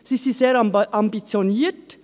Sie sind sehr ambitioniert.